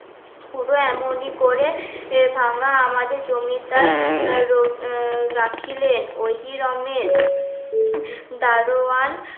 পুরো এমনই করে এ ভাঙ্গা আমাদের জমিদার রাখিলেন দারোয়ান